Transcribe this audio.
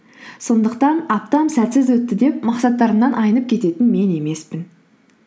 сондықтан аптам сәтсіз өтті деп мақсаттарымнан айнып кететін мен емеспін